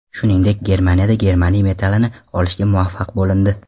Shuningdek, Germaniyada germaniy metallini olishga muvaffaq bo‘lindi.